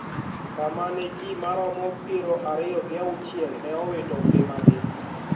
Kama ne ji moromo pier ariyo gi auchiel ne owito ngimagi